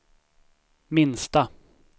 minsta